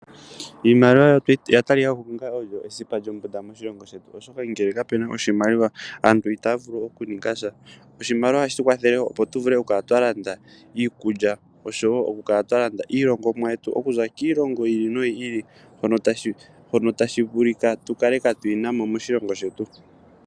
Iimaliwa oya talika ko onga oyo esipa lyombunda moshilongo shetu, oshoka ngele kapena oshimaliwa aantu itaya vulu oku ninga sha. Oshimaliwa ohashi kwathele woo opo tu vule ku kala twa landa iikulya, oshowo oku kala twa landa iilongomwa yetu okuza kiilongo yi ili noyi ili, mbyono tashi vulika tu kale twaayina mo moshilongo shetu.